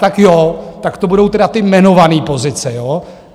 Tak jo, tak to budou tedy ty jmenované pozice, jo?